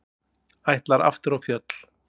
Ætlar aftur á fjöll